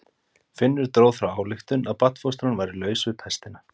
Finnur dró þá ályktun að barnfóstran væri laus við pestina.